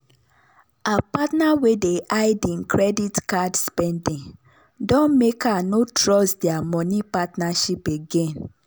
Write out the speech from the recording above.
her partner wey dey hide hin credit card spending don make her no trust dia money partnership again.